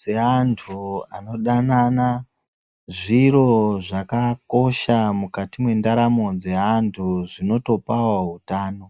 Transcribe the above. dzeantu anodanana ,zviro zvakakosha mukati mwendaramo dzeantu zvinotopawo utano.